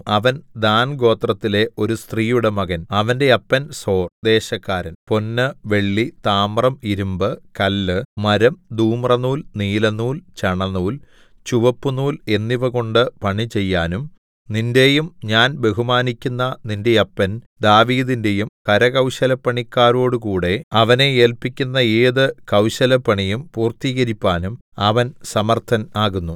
അവൻ ദാൻ ഗോത്രത്തിലെ ഒരു സ്ത്രീയുടെ മകൻ അവന്റെ അപ്പൻ സോർ ദേശക്കാരൻ പൊന്ന് വെള്ളി താമ്രം ഇരിമ്പ് കല്ല് മരം ധൂമ്രനൂൽ നീലനൂൽ ചണനൂൽ ചുവപ്പുനൂൽ എന്നിവകൊണ്ടു പണിചെയ്യാനും നിന്റെയും ഞാൻ ബഹുമാനിക്കുന്ന നിന്റെ അപ്പൻ ദാവീദിന്റെയും കരകൌശലപ്പണിക്കാരോടുകൂടെ അവനെ ഏല്പിക്കുന്ന ഏതു കൌശലപ്പണിയും പൂർത്തീകരിപ്പാനും അവൻ സമർത്ഥൻ ആകുന്നു